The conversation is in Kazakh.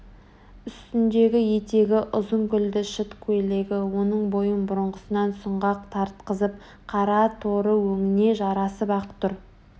Үстіндегі етегі ұзын гүлді шыт көйлегі оның бойын бұрынғысынан сұңғақ тартқызып қара торы өңіне жарасып-ақ тұр